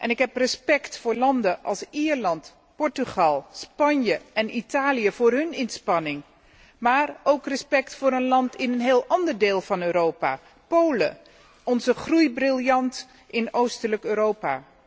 Ik heb respect voor landen als Ierland, Portugal, Spanje en Italië, voor hun inspanningen, maar ook respect voor een land in een heel ander deel van Europa Polen, onze groeibriljant in oostelijk Europa.